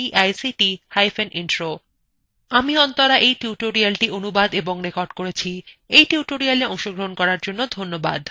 এই টিউটোরিয়ালএ অংশগ্রহন করার জন্য ধন্যবাদ শুভবিদায়